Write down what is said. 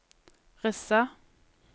Rissa